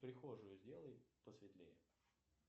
прихожую сделай посветлее